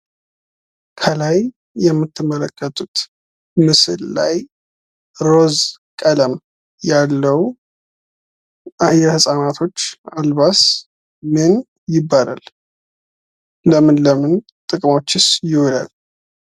ከላይ የምትመለከቱት ምስል ላይ ሮዝ ቀለም ያለው የህፃናቶች አልባስ ምን ይባላል? ለምን ለምን ጥቅሞችስ ይውላል?